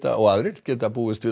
og aðrir geta búist við